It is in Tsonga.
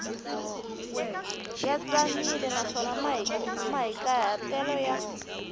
ya tsanile naswona mahikahatelo ya